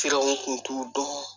kun t'u dɔn